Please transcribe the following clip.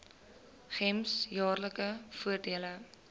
gems jaarlikse voordele